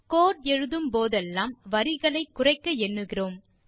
கோடு எழுதும் போதெல்லாம் வரிகளை குறைக்க எண்ணுகிறோம்